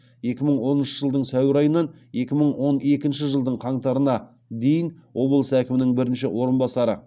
екі мың оныншы жылдың сәуір айынан екі мың он екінші жылдың қаңтарына дейін облыс әкімінің бірінші орынбасары